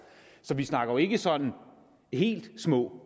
så vi snakker jo ikke sådan helt små